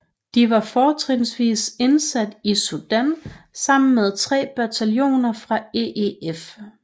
De var fortrinsvis indsat i Sudan sammen med tre bataljoner fra EEF